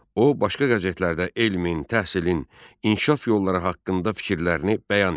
O başqa qəzetlərdə elmin, təhsilin, inkişaf yolları haqqında fikirlərini bəyan eləyirdi.